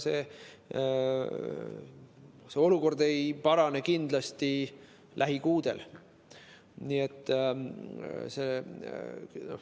See olukord lähikuudel kindlasti ei parane.